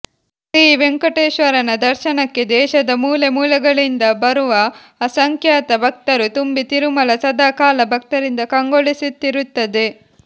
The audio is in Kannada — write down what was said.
ಶ್ರೀ ವೆಂಕಟೇಶ್ವರನ ದರ್ಶನಕ್ಕೆ ದೇಶದ ಮೂಲೆ ಮೂಲೆಗಳಿಂದ ಬರುವ ಅಸಂಖ್ಯಾತ ಭಕ್ತರು ತುಂಬಿ ತಿರುಮಲ ಸದಾ ಕಾಲ ಭಕ್ತರಿಂದ ಕಂಗೊಳಿಸುತ್ತಿರುತ್ತದೆ